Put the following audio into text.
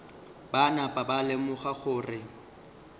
ba napa ba lemoga gore